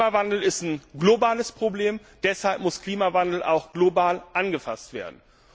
Klimawandel ist ein globales Problem, deshalb muss Klimawandel auch global angepackt werden.